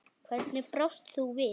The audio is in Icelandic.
Hvernig brást þú við?